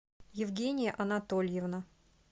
евгения анатольевна